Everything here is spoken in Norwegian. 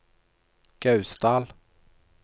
Gausdal